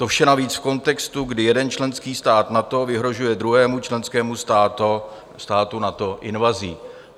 To vše navíc v kontextu, kdy jeden členský stát NATO vyhrožuje druhému členskému státu NATO invazí.